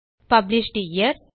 published year